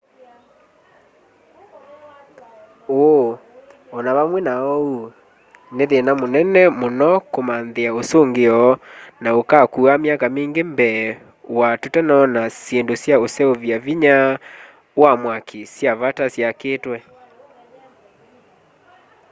ũũ o na vamwe na ũu nĩ thĩna mũnene mũno kũmanthĩa ũsũngĩo na ũkaakua myaka mingĩ mbee wa tũtanona syĩndũ sya ũseuvya vinya wa mwaki sya vata syakĩtwe